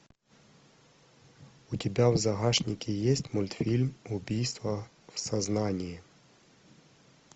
у тебя в загашнике есть мультфильм убийство в сознании